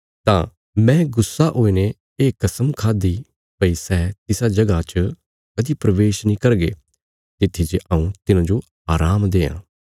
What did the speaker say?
तां मैं गुस्सा हुईने ये कस्म खाद्दि भई सै तिसा जगह च कदीं प्रवेश नीं करगे तित्थी जे हऊँ तिन्हांजो आराम देआं